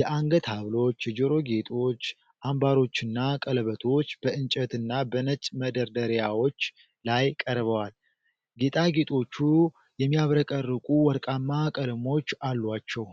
የአንገት ሐብሎች፣ የጆሮ ጌጦች፣ አምባሮችና ቀለበቶች በእንጨትና በነጭ መደርደሪያዎች ላይ ቀርበዋል። ጌጣጌጦቹ የሚያብረቀርቁ ወርቃማ ቀለሞች አሏቸው።